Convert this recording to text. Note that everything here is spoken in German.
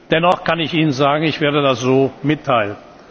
Dennoch kann ich Ihnen sagen Ich werde das so mitteilen.